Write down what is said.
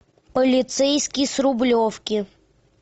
полицейский с рублевки